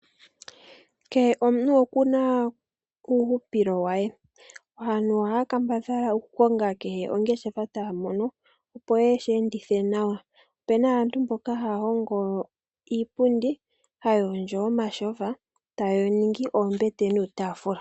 Kehe omuntu okuna uuhupilo we, aantu ohaya kambadhala oku konga kehe ongeshefa taya mono opo yeshi endithe nawa. Opena aantu mboka haya hongo iipundi, haya hondjo omatyofa etaye wu ningi oombete nuutaafula.